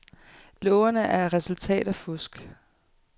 Lågerne er resultat af fusk.